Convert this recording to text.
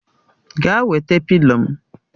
Gaa wete pịlo m!